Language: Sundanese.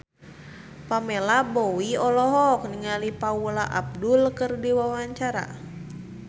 Pamela Bowie olohok ningali Paula Abdul keur diwawancara